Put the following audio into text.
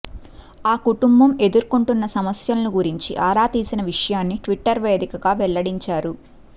ఆ కుటుంబం ఎదుర్కొంటున్న సమస్యలను గురించి ఆరా తీసిన విషయాన్ని ట్విటర్ వేదికగా వెల్లడించారు